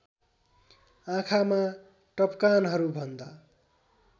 आँखामा टपकानहरू भन्दा